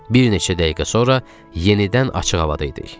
Bir neçə dəqiqə sonra yenidən açıq havada idik.